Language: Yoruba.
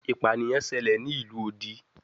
Ipaniyan ṣẹlẹ ni ilu odi